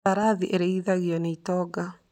Mbarathi irĩithagio nĩ itonga.